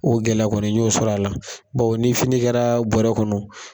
O gɛlɛya kɔni ,n y'o sɔrɔ a la bawo ni fini kɛra bɔrɛ kɔnɔ